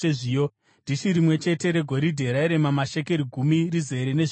dhishi rimwe chete regoridhe rairema mashekeri gumi, rizere nezvinonhuhwira;